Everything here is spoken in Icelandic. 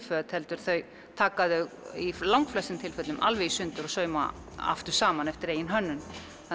föt heldur taka þau í langflestum tilvikum alveg í sundur og sauma aftur saman eftir eigin hönnun